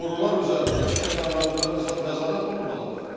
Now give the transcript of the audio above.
Borular üzərində, su kəmərləri üzərində nəzarət olmalıdır.